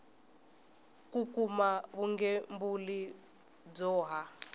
ku kuma vugembuli byo ha